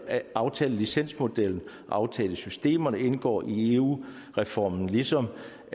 at aftalelicensmodellen og aftalesystemerne indgår i eu reformen ligesom